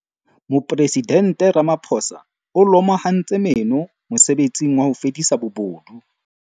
Mopresidente Ramaphosa o lomahantse meno mosebetsing wa ho fedisa bobodu.